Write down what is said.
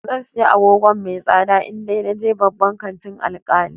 Zan siyi agoga mai tsada in da naje babban kantin Alkali